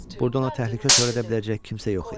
Burda ona təhlükə törədə biləcək kimsə yox idi.